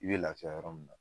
I be lafi yɔrɔ min na